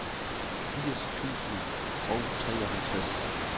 firs tusind og treoghalvtreds